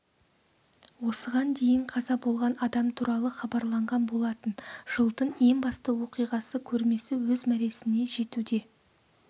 осыған дейін қаза болған адам туралы хабарланған болатын жылдың ең басты оқиғасы көрмесі өз мәресіне жетуде